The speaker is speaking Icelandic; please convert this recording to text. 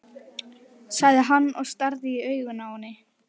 sagði hann og starði í augun á henni.